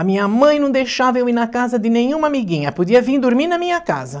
A minha mãe não deixava eu ir na casa de nenhuma amiguinha, podia vir dormir na minha casa.